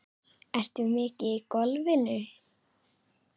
Ertu mikið í golfinu?